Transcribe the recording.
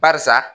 Barisa